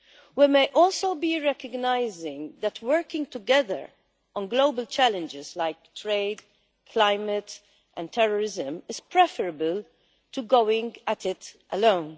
We may also be recognising that working together on global challenges like trade, climate and terrorism is preferable to going it alone.